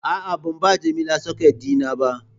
A'a, ban ba Jamila socket dina ba